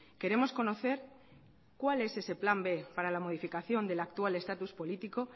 queremos conocer cuál es ese plan b para la modificación del actual estatus político